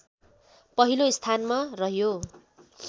पहिलो स्थानमा रह्यो